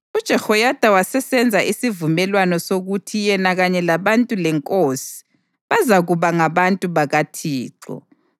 UJehoyada wasesenza isivumelwano sokuthi yena kanye labantu lenkosi bazakuba ngabantu bakaThixo